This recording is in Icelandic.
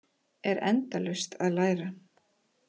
Er endalaust að læra